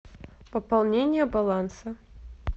пополнение баланса